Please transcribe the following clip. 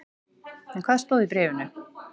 En hvað stóð í bréfinu?